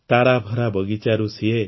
ତାରାଭରା ବଗିଚାରୁ ସିଏ